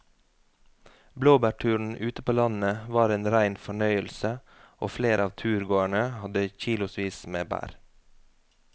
Blåbærturen ute på landet var en rein fornøyelse og flere av turgåerene hadde kilosvis med bær.